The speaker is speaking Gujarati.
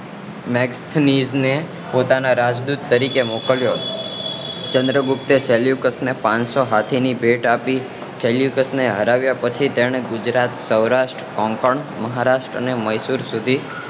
મેગ્થીનીસ ને પોતાના રાજદૂત તરીકે મોકલ્યો ચંદ્રગુપ્તે સેલ્યુકસ ને પાંચસો હાથી ની ભેટ આપી સેલ્યુકસ ને હરાવ્યા પછી તેમણે ગુજરાત સૌરાષ્ટ્ર મહારષ્ટ્ર અને મૈસુર સુધી